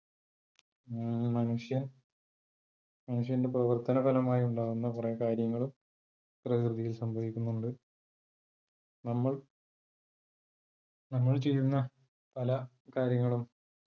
ഏർ മനുഷ്യൻ മനുഷ്യന്റെ പ്രവർത്തന ഫലമായി ഉണ്ടാവുന്ന കുറെ കാര്യങ്ങളും പ്രകൃതിയിൽ സംഭവിക്കുന്നുണ്ട്. നമ്മൾ നമ്മൾ ചെയ്യുന്ന പല കാര്യങ്ങളും